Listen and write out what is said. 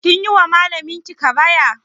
Kin yi wa malamin ki ƙaraya?